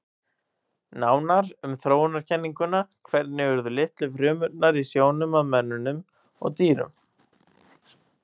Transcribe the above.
Nánar um þróunarkenninguna Hvernig urðu litlu frumurnar í sjónum að mönnum og dýrum?